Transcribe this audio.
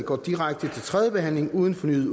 udtale